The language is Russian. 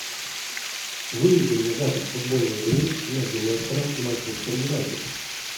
выведи мне запись футбольной игры между лестером и манчестер юнайтед